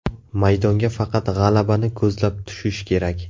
Maydonga faqat g‘alabani ko‘zlab tushish kerak.